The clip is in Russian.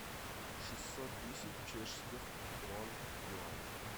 шестьсот тысяч чешских крон в юанях